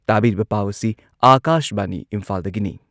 ꯇꯥꯕꯤꯔꯤꯕ ꯄꯥꯎ ꯑꯁꯤ ꯑꯥꯀꯥꯁꯕꯥꯅꯤ ꯏꯝꯐꯥꯜꯗꯒꯤꯅꯤ꯫